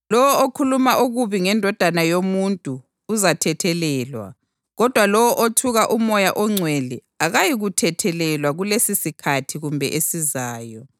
Lowo okhuluma okubi ngeNdodana yoMuntu uzathethelelwa kodwa lowo othuka uMoya oNgcwele akayikuthethelelwa kulesisikhathi kumbe esizayo.